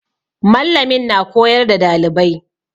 Mallamin na koyar da dalibai.